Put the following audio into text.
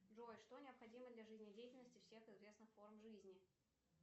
джой что необходимо для жизнедеятельности всех известных форм жизни